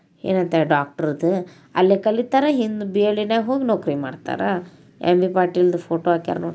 Doctor ಕಲಿತಾರ್ ಇಂದ B L D ಹೊಲಗ ನೌಕರಿ ಮಾಡತಾರ ಎಂ ಬಿ ಪಾಟೀಲ್ ಫೋಟೋ ಹಾಕ್ಯಾರ .